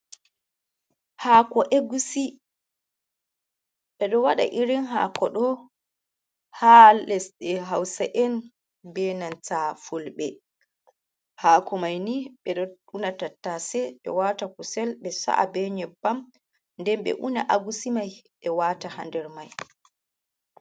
Hako’egusi ɓe ɗo waɗa irin hako ɗo ha lesɗe hausa’en ɓenanta fulɓe ,hako mai ni ɓe ɗo una tattase ɓe wata kusel ɓe sa’a ɓe nyeɓɓam ,ɗen ɓe una agusi mai ɓe wata ha nɗer mai.